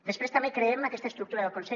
després també creem en aquesta estructura del consell